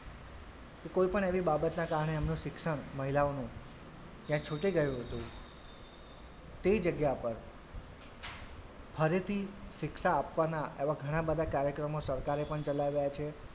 કે કોઈપણ એવી બાબતના કારણે એમનું શિક્ષણ મહિલાઓનું ત્યાં છુટી ગયું હતું તે જગ્યા પર ફરીથી શિક્ષા આપવાના એવાં ઘણાં બધાં કાર્યક્રમો સરકારે પણ ચલાવ્યા છે.